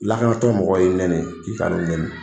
Lakanatɔn mɔgɔ y'i nɛni k'i kana u nɛni